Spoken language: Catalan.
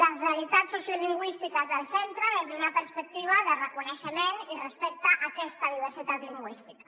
la realitat sociolingüística del centre des d’una perspectiva de reconeixement i respecte a aquesta diversitat lingüística